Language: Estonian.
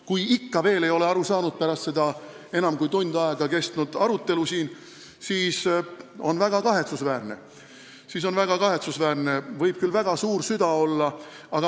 Kui ikka veel ei ole sellest aru saadud, pärast seda enam kui tund aega kestnud arutelu siin, siis on see väga kahetsusväärne, kuigi süda võib küll väga suur olla.